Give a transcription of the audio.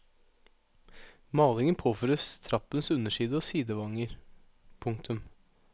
Malingen påføres trappens underside og sidevanger. punktum